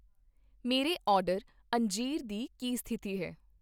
ਮੇਰੇ ਆਰਡਰ, ਅੰਜੀਰ ਦੀ ਕੀ ਸਥਿਤੀ ਹੈ?